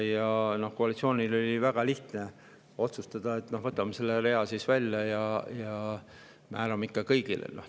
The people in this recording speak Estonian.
Ja koalitsioonil oli siis väga lihtne otsustada, et võtame selle rea välja ja määrame kõigile.